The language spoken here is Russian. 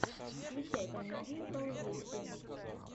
включай комедию про увечье